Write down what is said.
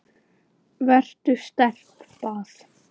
Vertu sterk- bað